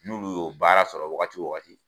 N'olu y'o baara sɔrɔ wagati o wagati